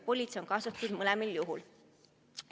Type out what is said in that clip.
Politsei on ju kaasatud mõlemal juhul.